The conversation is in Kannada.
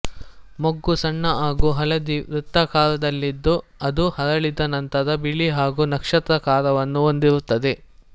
ಮೊಗ್ಗು ಸಣ್ಣ ಹಾಗೂ ಹಳದಿ ವೃತ್ತಾಕಾರದಲ್ಲಿದ್ದು ಅದು ಅರಳಿದ ನಂತರ ಬಿಳಿ ಹಾಗೂ ನಕ್ಷತ್ರಾಕಾರವನ್ನು ಹೊಂದಿರುತ್ತದೆ